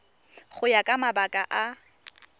go ya ka mabaka a